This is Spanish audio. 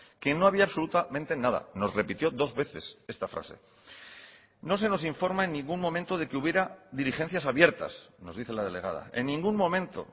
que no había absolutamente nada nos repitió dos veces esta frase no se nos informa en ningún momento de que hubiera diligencias abiertas nos dice la delegada en ningún momento